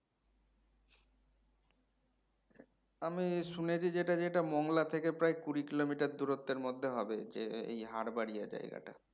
আমি শুনেছি যেটা যেটা মঙ্গলা থেকে প্রায় কুড়ি কিলোমিটার দূরত্বের মধ্যে হবে যে এই হারবাড়িয়া জায়গাটা